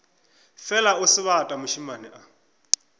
fela o sebata mošemane a